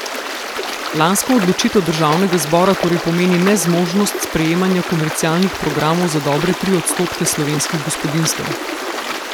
Lanska odločitev državnega zbora torej pomeni nezmožnost sprejemanja komercialnih programov za dobre tri odstotke slovenskih gospodinjstev.